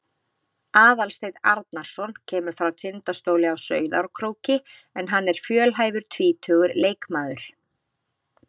Aðalsteinn Arnarson kemur frá Tindastóli á Sauðárkróki en hann er fjölhæfur tvítugur leikmaður.